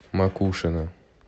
макушино